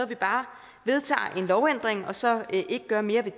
vi bare vedtager en lovændring og så ikke gør mere ved